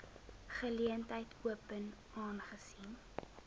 geleentheid open aangesien